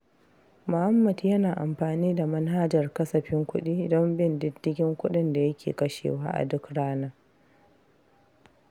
Muhammad yana amfani da manhajar kasafin kudi don bin diddigin kudin da yake kashewa a duk rana.